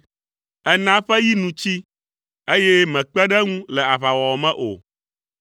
Èna eƒe yi nu tsi, eye mèkpe ɖe eŋu le aʋawɔwɔ me o.